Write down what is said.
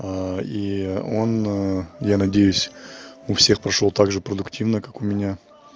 а и он ну я надеюсь у всех прошёл также продуктивно как у меня